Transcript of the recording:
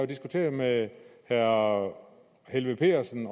diskuteret med herre helveg petersen